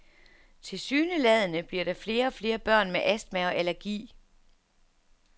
Tilsyneladende bliver der flere og flere børn med astma og allergi.